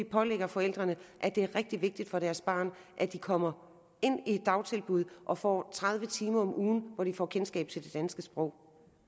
forældrene at det er rigtig vigtigt for deres barn at det kommer ind i et dagtilbud og får tredive timer om ugen hvor det får kendskab til det danske sprog